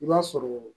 I b'a sɔrɔ